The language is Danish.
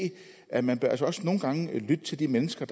at man altså også nogle gange bør lytte til de mennesker